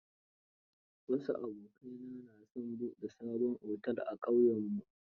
Wasu abokaina na son buɗe sabon otel a ƙauyenmu